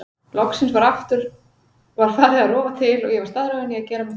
Loksins var farið að rofa til og ég var staðráðin í að gera mitt besta.